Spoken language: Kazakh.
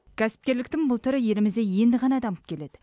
кәсіпкерліктің бұл түрі елімізде енді ғана дамып келеді